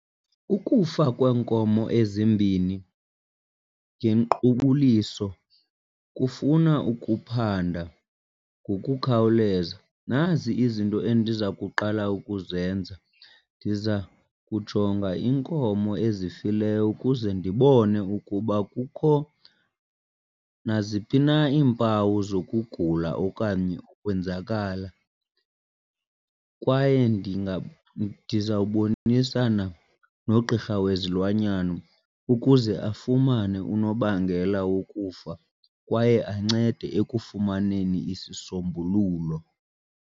Ukufa kweenkomo ezimbini ngenkqubuliso kufuna ukuphanda ngokukhawuleza. Nazi izinto endiza kuqala ukuzenza. Ndiza kujonga iinkomo ezifileyo ukuze ndibone ukuba akukho naziphi na iimpawu zokugula okanye ukwenzakala kwaye ndizawubonisana nogqirha wezilwanyana ukuze afumane unobangela wokufa kwaye ancede ekufumaneni isisombululo.